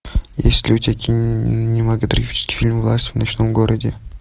есть ли у тебя кинематографический фильм власть в ночном городе